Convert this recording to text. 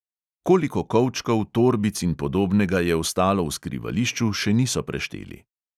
Koliko kovčkov, torbic in podobnega je ostalo v skrivališču, še niso prešteli.